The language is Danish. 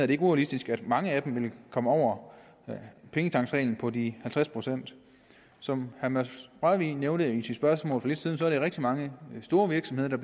det ikke urealistisk at mange af dem vil komme over pengetanksreglen på de halvtreds procent som herre mads rørvig nævnte i sit spørgsmål for lidt siden er det rigtig mange store virksomheder